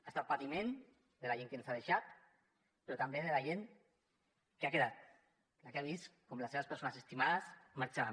ha estat patiment de la gent que ens ha deixat però també de la gent que ha quedat la que ha vist com les seves persones estimades marxaven